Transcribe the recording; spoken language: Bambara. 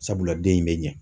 Sabula den in bɛ ɲɛ.